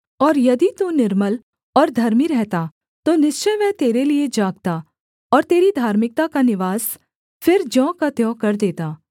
और यदि तू निर्मल और धर्मी रहता तो निश्चय वह तेरे लिये जागता और तेरी धार्मिकता का निवास फिर ज्यों का त्यों कर देता